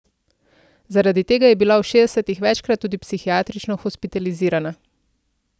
Zaradi tega je bila v šestdesetih večkrat tudi psihiatrično hospitalizirana.